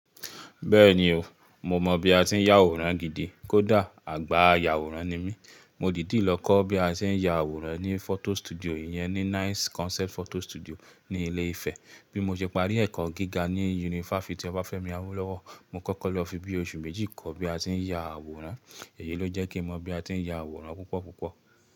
Bẹ́ẹ̀ni o, mo mọ̀ bí a ti ń ya àwòrán gidi. Kódà àgbà àyà àwòrán ni mí. Mo dìdí lọ kọ́ bí a ti ń ya àwòrán ní photo studio yẹn ní Nice Concept Photo Studio ní ilé Ifẹ̀. Bí mo ṣe parí ẹ̀kọ́ gíga ní Yunifásítì Obáfẹ́mi Awólọ́wọ̀, mo kọ́kọ́ lọ fi bíi oṣù méjì kọ́ bí a ti ń ya àwòrán. Èyí ló jẹ́ kí mọ bí a ti ń ya àwòrán púpọ̀ púpọ̀.